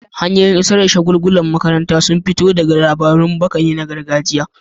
Hanyoyin isar da shagulgulan ƙaddamarwa sun fito ne daga labarun baka na gargajiya.